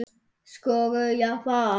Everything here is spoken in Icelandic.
Skógar Japans